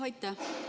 Aitäh!